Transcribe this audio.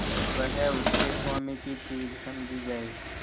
वह उसके स्वामी की चीज समझी जाए